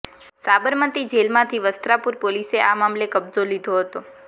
સાબરમતી જેલમાંથી વસ્ત્રાપુર પોલીસે આ મામલે કબજો લીધો હતો